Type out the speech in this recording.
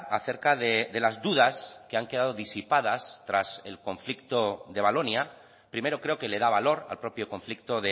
acerca de las dudas que han quedado disipadas tras el conflicto de valonia primero creo que le da valor al propio conflicto